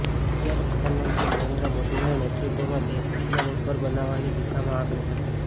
અત્યારે પ્રધાનમંત્રી નરેન્દ્ર મોદીના નેતૃત્વમાં દેશ આત્મનિર્ભર બનવાની દિશામાં અગ્રેસર છે